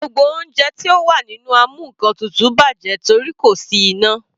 Gbogbo oúnjẹ tí ó wà nínú amúnkantutù bàjẹ́ torí kò sí iná.